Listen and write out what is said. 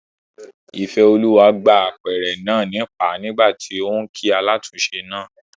Ìfẹ́olúwa gbá apẹ̀rẹ̀ náà nípàá nígbàtí óún kí alátúnse náà